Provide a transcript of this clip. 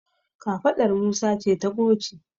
kafaɗar Musa ce ta goce